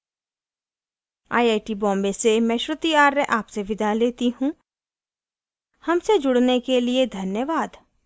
I I T Bombay से मैं श्रुति आर्य आपसे विदा लेती हूँ हमसे जुड़ने के लिए धन्यवाद